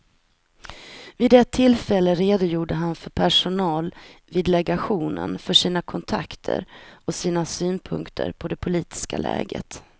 Vid ett tillfälle redogjorde han för personal vid legationen för sina kontakter och sina synpunkter på det politiska läget.